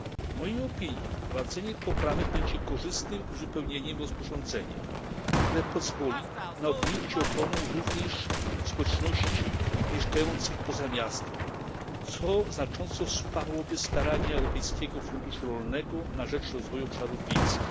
W mojej opinii wprowadzenie poprawek będzie korzystnym uzupełnieniem rozporządzenia, które pozwoli na objęcie ochroną również społeczności mieszkających poza miastem, co znacząco wsparłoby starania Europejskiego Funduszu Rolnego Rozwoju Obszarów Wiejskich.